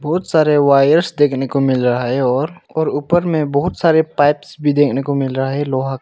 बहुत सारे वायरस देखने को मिल रहा है और और ऊपर में बहुत सारे पाइप्स भी देखने को मिल रहा है लोहा--